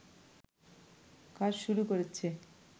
কাজ শুরু করেছে